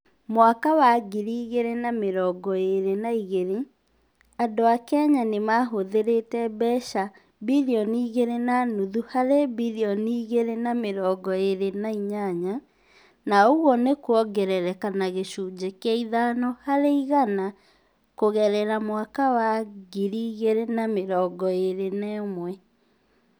Mwaka wa ngiri igĩrĩ na mĩrongo ĩĩrĩ na igĩrĩ, andũ a Kenya nĩ mahũthĩrĩte mbeca bilioni igĩrĩ na nuthu harĩ bilioni igĩrĩ na mĩrongo ĩĩrĩ na inyanya, na ũguo nĩ kuongerereka na gĩcunjĩ kĩa ithano harĩ igana kũgerera mwaka wa ngiri igĩrĩ na mĩrongo ĩĩrĩ na ũmwe.